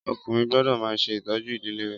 Ọkùnrin gbọ́dọ̀ máa ṣe ìtọ́jú ìdílé rè